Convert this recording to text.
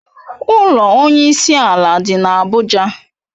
Ụlọ Onye isi ala dị n'Abuja.